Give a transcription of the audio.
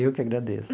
Eu que agradeço.